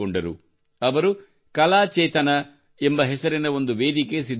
ಅವರು ಕಲಾ ಚೇತನ ಎಂಬ ಹೆಸರಿನ ಒಂದು ವೇದಿಕೆ ಸಿದ್ಧಪಡಿಸಿದರು